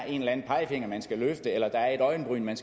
en pegefinger eller et øjenbryn man